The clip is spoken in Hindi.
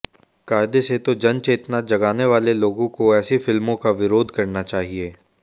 कायदे से तो जनचेतना जगाने वाले लोगों को ऐसी फिल्मों का विरोध करना चाहिए